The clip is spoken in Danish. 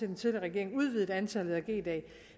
den tidligere regering udvidede antallet af g dage